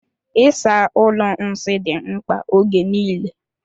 Ịsa ụlọ nsị dị mkpa ógè niile.